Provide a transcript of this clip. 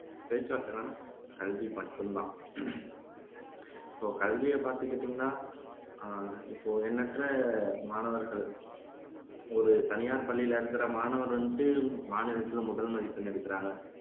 பேச்சுவார்த்தை என்னன்னா கல்வி மட்டும்தான் இப்போ கல்வியை பாத்துகிட்டீங்கன்னா அஹ் இப்போ எண்ணற்ற மாணவர்கள் ஒரு தனியார் பள்ளியில இருக்கிற மாணவர் வந்து மாநிலத்துல முதல் மதிப்பெண் எடுக்கிறாங்க